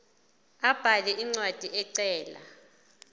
abhale incwadi ecela